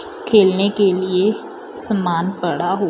खेलने के लिए सामान पड़ा हु--